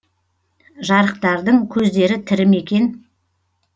жарықтықтардың көздері тірі ме екен